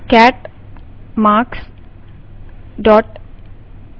cat marks dot txt